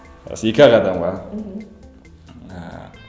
осы екі ақ адамға мхм ыыы